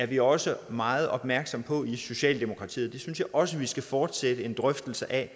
vi også meget opmærksomme på i socialdemokratiet og synes også at vi skal fortsætte en drøftelse af